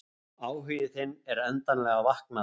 Áhugi þinn er endanlega vaknaður.